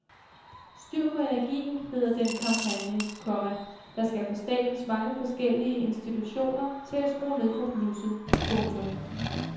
Styr på energien hedder den kampagne, komma der skal få statens mange forskellige institutioner til at skrue ned for blusset. punktum